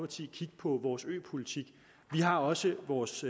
kigge på vores øpolitik vi har også vores